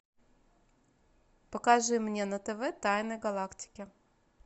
покажи мне на тв тайны галактики